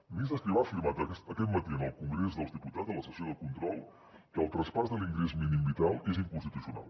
el ministre escrivá ha afirmat aquest matí en el congrés dels diputats a la sessió de control que el traspàs de l’ingrés mínim vital és inconstitucional